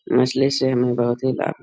मछली से हमें बहुत ही लाभ --